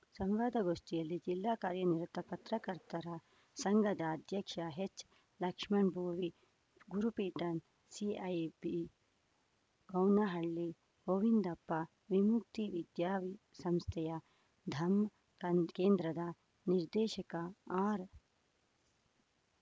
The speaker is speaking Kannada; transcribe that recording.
ಸಂವಾದ ಗೋಷ್ಠಿಯಲ್ಲಿ ಜಿಲ್ಲಾ ಕಾರ್ಯನಿರತ ಪತ್ರಕರ್ತರ ಸಂಘದ ಅಧ್ಯಕ್ಷ ಎಚ್‌ ಲಕ್ಷ್ಮಣ್ ಭೋವಿ ಗುರುಪೀಠ ಸಿಐಪಿ ಗೌನಹಳ್ಳಿ ಗೋವಿಂದಪ್ಪ ವಿಮುಕ್ತಿ ವಿದ್ಯಾಸಂಸ್ಥೆಯ ದಮ್ಮಾ ಕಾ ಕೇಂದ್ರದ ನಿರ್ದೇಶಕ ಆರ್‌